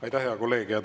Aitäh, hea kolleeg!